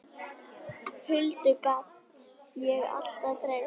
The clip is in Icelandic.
Huldu gat ég alltaf treyst.